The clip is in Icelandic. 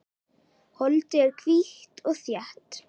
Holdið er hvítt og þétt.